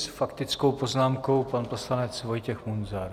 S faktickou poznámkou pan poslanec Vojtěch Munzar.